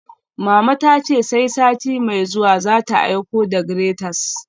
Mama ta ce sai sati mai zuwa za ta aiko da graters